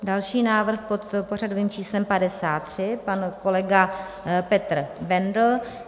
Další návrh pod pořadovým číslem 53, pan kolega Petr Bendl .